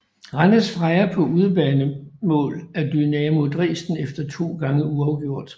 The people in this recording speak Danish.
Randers Freja på udebanemål af Dynamo Dresden efter to gange uafgjort